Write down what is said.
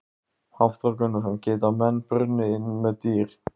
Hafþór Gunnarsson: Geta menn brunnið inni með dýr?